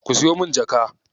Ku siyo min jaka.